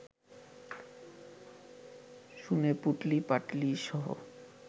শুনে, পুঁটলি-পাঁটলিসহ